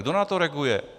Kdo na to reaguje?